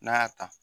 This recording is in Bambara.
N'a y'a ta